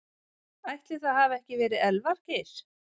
Ætli það hafi ekki verið Elvar Geir.